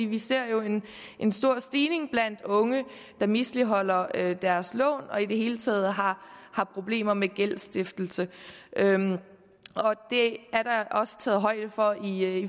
vi ser jo en stor stigning af unge der misligholder deres lån og som i det hele taget har har problemer med gældsstiftelse det er der også taget højde for i